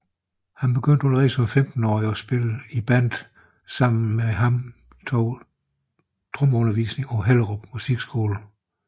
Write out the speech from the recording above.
Han begyndte allerede som 15 årig at spille i bands samtidig med han tog trommeundervisning på Hellerup Musikskole